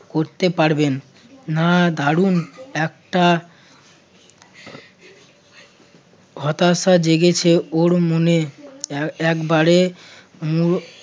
করতে পারবেন না দারুন একটা হতাশা জেগেছে ওর মনে এ~ একবারে উম